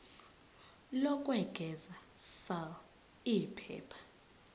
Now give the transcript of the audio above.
lokwengeza sal iphepha